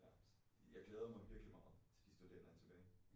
Ja så jeg glæder mig virkelig meget til de studerende er tilbage